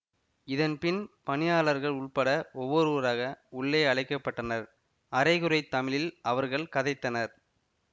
இதன்பின் பணியாளர்கள் உட்பட ஒவ்வொருவராக உள்ளே அழைக்க பட்டனர் அரைகுறைத் தமிழில் அவர்கள் கதைத்தனர்